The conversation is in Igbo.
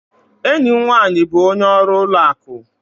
Enyi m nwanyị bụ onye ọrụ ụlọ akụ